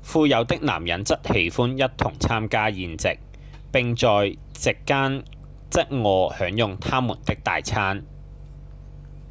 富有的男人則喜歡一同參加宴席並在席間側臥享用他們的大餐